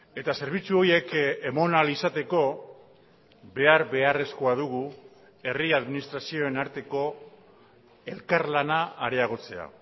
eta zerbitzu horiek eman ahal izateko behar beharrezkoa dugu herri administrazioen arteko elkarlana areagotzea